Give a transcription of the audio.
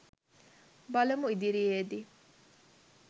බලමු ඉදිරියේදී